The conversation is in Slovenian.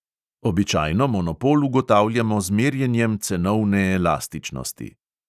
Običajno monopol ugotavljamo z merjenjem cenovne elastičnosti.